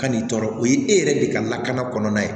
Kan'i tɔɔrɔ o ye e yɛrɛ de ka lakana kɔnɔna ye